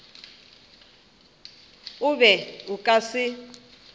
o be o ka se